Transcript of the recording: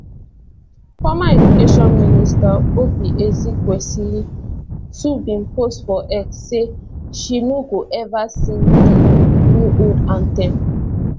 former education minister oby ezekwesili too bin post for x say she no go ever sing di newold anthem